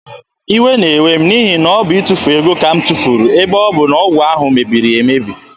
Iwe na-ewe m n'ihi na ọ bụ itufu ego ka m tufuru ebe ọ bụ na ọgwụ ahụ mebiri emebi.